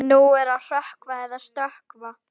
Nú er að hrökkva eða stökkva.